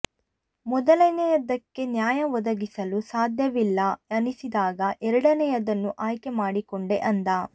ಮೊದಲನೆಯದಕ್ಕೆ ನ್ಯಾಯ ಒದಗಿಸಲು ಸಾಧ್ಯವಿಲ್ಲಾ ಅನಿಸಿದಾಗ ಎರಡನೆಯದನ್ನು ಆಯ್ಕೆ ಮಾಡಿಕೊಂಡೆ ಅಂದ